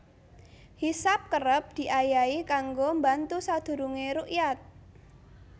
Hisab kerep diayahi kanggo mbantu sadurungé rukyat